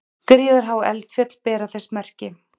Gríðarhá eldfjöll bera þess merki.